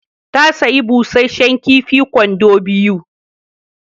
Ta sayi busasshen kifi kwando biyu.